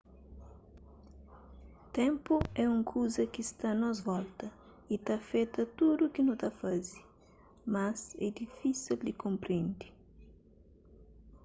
ténpu é un kuza ki sta a nos volta y ta afeta tudu ki nu ta faze mas é difísil di konprende